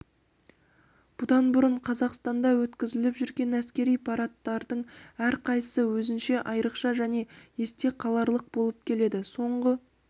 бұдан бұрын қазақстанда өткізіліп жүрген әскери парадтардың әрқайсысы өзінше айрықша және есте қаларлық болып келеді соңғы